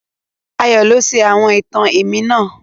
Ayó lo sọ àwon ìtàn èmí náà